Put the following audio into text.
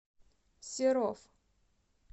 серов